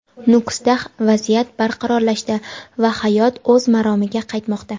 Nukusda vaziyat barqarorlashdi va hayot o‘z maromiga qaytmoqda;.